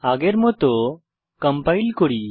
আগের মত কম্পাইল করি